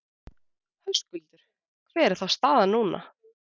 Höskuldur: Hver er þá staðan núna?